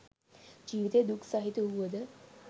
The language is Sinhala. ජීවිතය දුක් සහිත වූවද